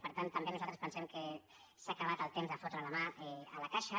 per tant també nosaltres pensem que s’ha acabat el temps de fotre la mà a la caixa